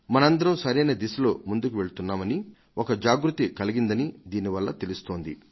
మనందరం సరైన దిశలో ముందుకు వెళ్తున్నామని ఒక జాగృతి కలిగిందని దీనివల్ల తెలుస్తోంది